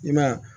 I ma ye